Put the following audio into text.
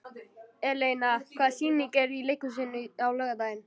Eleina, hvaða sýningar eru í leikhúsinu á laugardaginn?